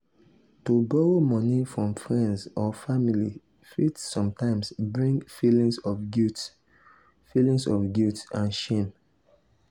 to borrow moni from friends or family fit sometimes bring feelings of guilt feelings of guilt and shame.